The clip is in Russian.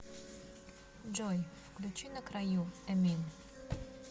джой включи на краю эмин